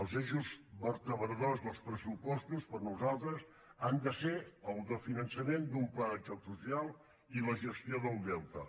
els eixos vertebradors dels pressupostos per nosaltres han de ser el del finançament d’un pla de xoc social i la gestió del deute